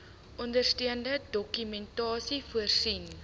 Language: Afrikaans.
ondersteunende dokumentasie voorsien